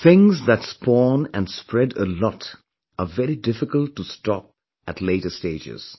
Things that spawn and spread a lot are very difficult to stop at later stages